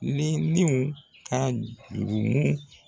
Ni niw ka jurumu